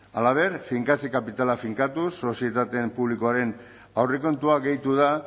halaber finkatze kapitala finkatuz sozietate publikoaren aurrekontua gehitu da